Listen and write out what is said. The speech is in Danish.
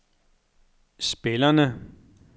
spillerne